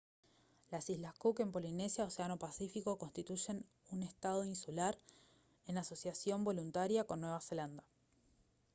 las islas cook en polinesia océano pacífico constituyen un estado insular en asociación voluntaria con nueva zelanda